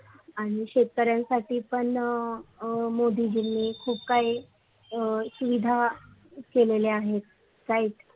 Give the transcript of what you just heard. आणि शेतकरीयांसाठी पण अ मोदीजीनी खुप काय सुविधा केलेले आहे right